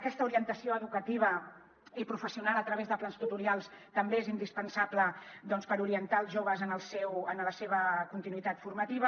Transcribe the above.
aquesta orientació educativa i professional a través de plans tutorials també és indispensable per orientar els joves en la seva continuïtat formativa